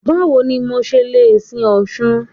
Báwo ni mo ṣe le sin Ọ̀ṣun?